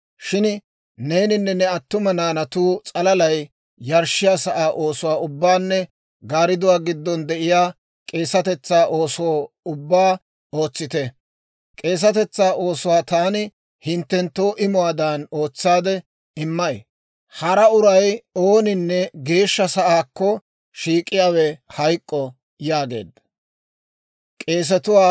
Shin neeninne ne attuma naanatu s'alalay yarshshiyaa sa'aa oosuwaa ubbaanne gaariduwaa giddon de'iyaa k'eesetetsaa ooso ubbaa ootsite. K'eesetetsaa oosuwaa taani hinttenttoo imuwaadan ootsaade immay; hara uray ooninne geeshsha sa'aakko shiik'iyaawe hayk'k'o» yaageedda.